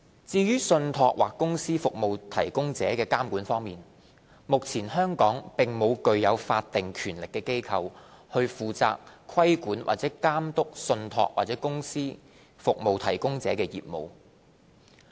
至於在信託或公司服務提供者的監管方面，目前香港並無具有法定權力的機構，負責規管或監督信託或公司服務提供者的業務。